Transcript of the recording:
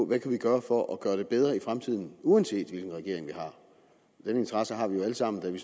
vi kan gøre for at gøre det bedre i fremtiden uanset hvilken regering vi har den interesse har vi jo alle sammen da vi